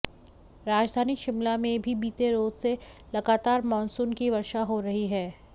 राजधानी शिमला में भी बीते रोज से लगातार मॉनसून की वर्षा हो रही है